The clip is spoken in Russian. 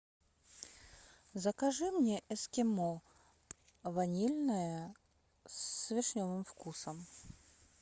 закажи мне эскимо ванильное с вишневым вкусом